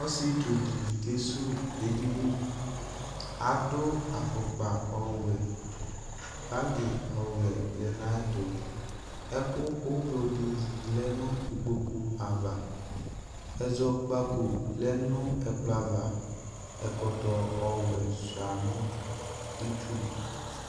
Ɔsɩetsu dɩ kesuwu edini Adʋ afʋkpa ɔwɛ Bagɩ ɔwɛ lɛ nʋ ayɛtʋ Ɛkʋ ʋblo dɩ lɛ nʋ ikpoku ava Ɛzɔkpako lɛ nʋ ɛkplɔ ava Ɛkɔtɔ ɔwɛ sʋɩa nʋ itsu